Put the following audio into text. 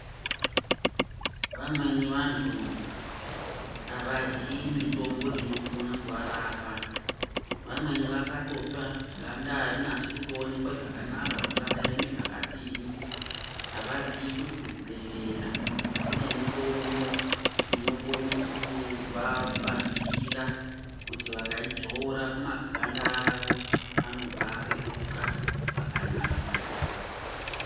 Vamweni vantu avaziyi mitombo inokone kuvarapa vamweni vakatotsva ganda arinasi kutoonekwa zvakanaka kuti rakaeme zvakadini avaziyi kuti kuzvibhedhleya kune mitombo inokone kuvabatsira kuti vakaidzora pamaganda avo anobva apetuka pakanaka.